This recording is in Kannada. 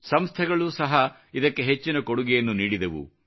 ಸಂಸ್ಥೆಗಳು ಸಹಾ ಇದಕ್ಕೆ ಹೆಚ್ಚಿನ ಕೊಡುಗೆಯನ್ನು ನೀಡಿದವು